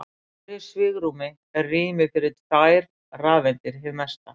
Í hverju svigrúmi er rými fyrir tvær rafeindir hið mesta.